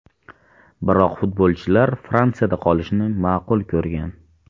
Biroq futbolchilar Fransiyada qolishni ma’qul ko‘rgan.